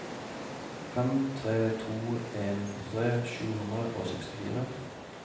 fem tre to en førtitre sju hundre og sekstifire